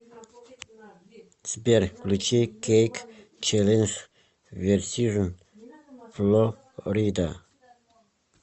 сбер включи кейк челлендж версижн фло рида